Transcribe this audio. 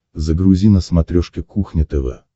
загрузи на смотрешке кухня тв